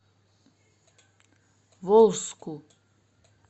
волжску